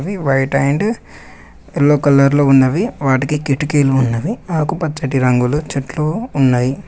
అవి white and yellow కలర్లో ఉన్నవి వాటికి కిటికీలు ఉన్నవి ఆకుపచ్చటి రంగులో చెట్లు ఉన్నాయి.